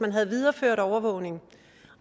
man havde videreført overvågningen